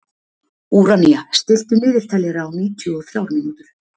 Úranía, stilltu niðurteljara á níutíu og þrjár mínútur.